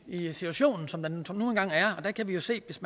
i situationen som den nu engang er og der kan vi jo se hvis